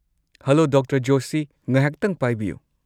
Hello, doctor Joshi. ꯉꯥꯏꯍꯥꯛꯇꯪ ꯄꯥꯏꯕꯤꯌꯨ꯫